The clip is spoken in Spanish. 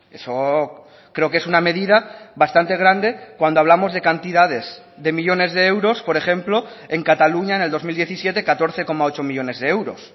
eso creo que es una medida bastante grande cuando hablamos de cantidades de millónes de euros por ejemplo en cataluña en el dos mil diecisiete catorce coma ocho millónes de euros